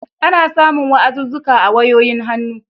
Ana samun wa'azuzzuka a wayoyin hannu.